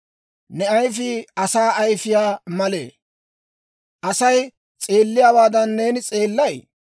Ne ayifii asaa ayifiyaa malee? Asay s'eelliyaawaadan neeni s'eellay?